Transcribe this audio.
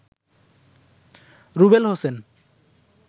Rubel Hossain